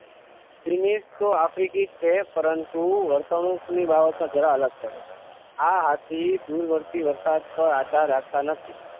ચીનીસ તો આફ્રિકી છે પરંતુ વર્તણૂક ની બાબત માં જરા અલગ પડે આ હાથી સ્તૂરવર્તી વરસાદ પર આધાર રાખતા નથી